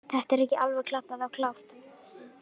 Þetta er ekki alveg klappað og klárt.